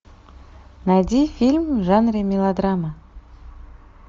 найди фильм в жанре мелодрама